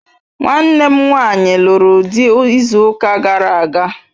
Nwanne m nwanyi luru di izu uka gara aga..